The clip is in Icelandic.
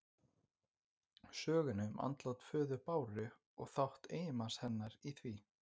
Sögunni um andlát föður Báru og þátt eiginmanns hennar í því.